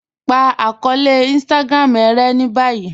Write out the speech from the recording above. Pa akọọlẹ̀ Instagram e rẹ̀ ni báyì